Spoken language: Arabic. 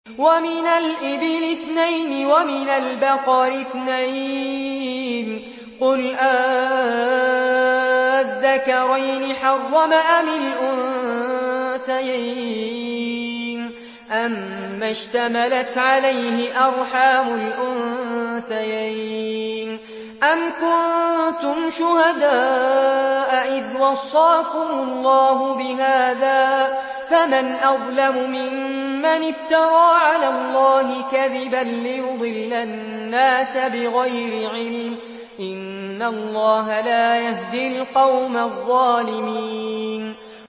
وَمِنَ الْإِبِلِ اثْنَيْنِ وَمِنَ الْبَقَرِ اثْنَيْنِ ۗ قُلْ آلذَّكَرَيْنِ حَرَّمَ أَمِ الْأُنثَيَيْنِ أَمَّا اشْتَمَلَتْ عَلَيْهِ أَرْحَامُ الْأُنثَيَيْنِ ۖ أَمْ كُنتُمْ شُهَدَاءَ إِذْ وَصَّاكُمُ اللَّهُ بِهَٰذَا ۚ فَمَنْ أَظْلَمُ مِمَّنِ افْتَرَىٰ عَلَى اللَّهِ كَذِبًا لِّيُضِلَّ النَّاسَ بِغَيْرِ عِلْمٍ ۗ إِنَّ اللَّهَ لَا يَهْدِي الْقَوْمَ الظَّالِمِينَ